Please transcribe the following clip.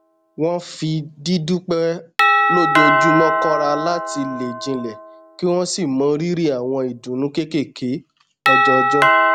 wọn fi dídúpẹ lójoojúmọ kọra láti le jinlẹ kí wọn sì mọ rírì àwọn ìdùnnú kéékèèké ọjọọjọ